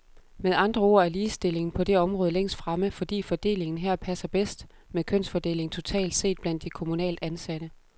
Med andre ord er ligestillingen på det område længst fremme, fordi fordelingen her passer bedst med kønsfordelingen totalt set blandt de kommunalt ansatte.